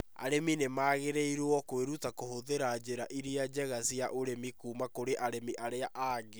Arĩmi nĩ magĩrĩirũo kũĩruta kũhũthĩra njĩra iria njega cia ũrĩmi kuuma kũrĩ arĩmi arĩa angĩ.